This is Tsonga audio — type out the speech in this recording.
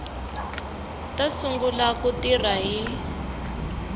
ta sungula ku tirha hi